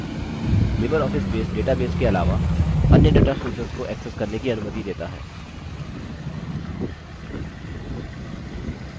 LibreOffice base databases के अलावा अन्य data sources data sources को accessed करने की अनुमति data है